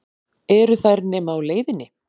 Eru þær nema á leiðinni?